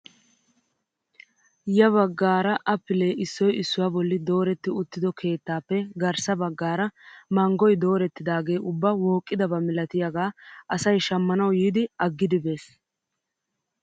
Ya baggaara appilee issoy issuwaa bolli dooretti uttido keettaappe garssa baggaara manggoy dorettidaagee ubba wooqqidaba milatiyaaga asay shammanwu yiidi aggidi bes!